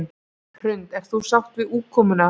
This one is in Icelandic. Hrund: Ert þú sátt við útkomuna?